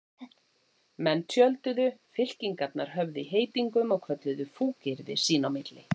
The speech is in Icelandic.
Menn tjölduðu, fylkingarnar höfðu í heitingum og kölluðu fúkyrði sín á milli.